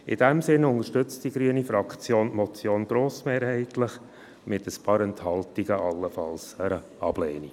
In diesem Sinne unterstützt die grüne Fraktion die Motion grossmehrheitlich, mit ein paar Enthaltungen und allenfalls einer Ablehnung.